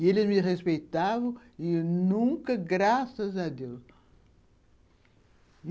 E eles me respeitavam e nunca, graças a Deus.